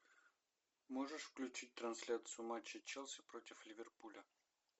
можешь включить трансляцию матча челси против ливерпуля